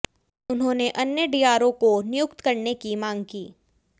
उन्होंने अन्य डीआरओ को नियुक्त करने की मांग की